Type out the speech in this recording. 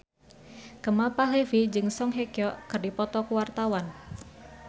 Kemal Palevi jeung Song Hye Kyo keur dipoto ku wartawan